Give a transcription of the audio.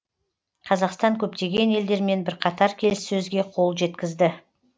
қазақстан көптеген елдермен бірқатар келіссөзге қол жеткізді